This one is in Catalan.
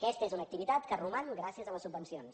aquesta és una activitat que roman gràcies a les subvencions